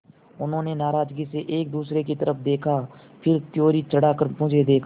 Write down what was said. उन्होंने नाराज़गी से एक दूसरे की तरफ़ देखा फिर त्योरी चढ़ाकर मुझे देखा